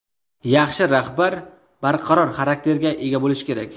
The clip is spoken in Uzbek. Yaxshi rahbar barqaror xarakterga ega bo‘lishi kerak.